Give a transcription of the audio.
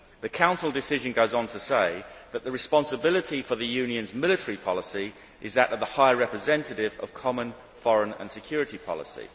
The Council decision goes on to say that responsibility for the Union's military policy lies with the High Representative of Common Foreign and Security Policy.